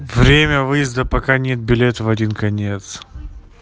время выезда пока нет билет в один конец